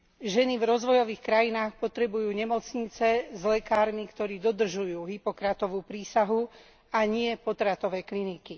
Ženy v rozvojových krajinách potrebujú nemocnice s lekármi, ktorí dodržujú Hippokratovu prísahu, a nie potratové kliniky.